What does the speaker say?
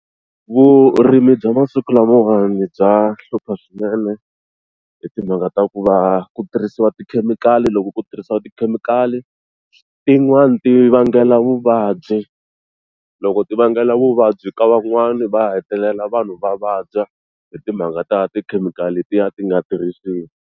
Vurimi bya masiku lamawani bya hlupha swinene hi timhaka ta ku va ku tirhisiwa tikhemikhali loko ku tirhisiwa tikhemikhali tin'wana ti vangela vuvabyi loko ti vangela vuvabyi ka van'wani va hetelela vanhu va vabya hi timhaka ta tikhemikhali letiya ti nga tirhisiwa.